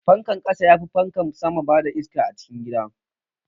Fankan ƙasa yafi fankan sama bada iska a cikin gida.